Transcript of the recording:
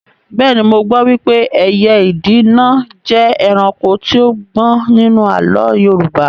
Bẹ́ẹ̀ni, mo gbọ́ wípé ẹyẹ ìdì náà jẹ́ ẹranko tí ó gbọ́n nínú àlọ́ Yorùbá